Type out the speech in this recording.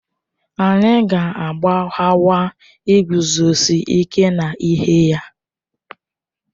Anyị ga-agbaghakwa iguzosi ike n'ihe ya